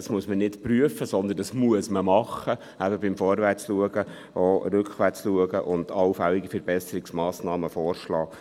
Das muss man nicht prüfen, sondern man muss es tun, eben beim Vorwärtsschauen auch rückwärts schauen und allfällige Verbesserungsmassnahmen vorschlagen.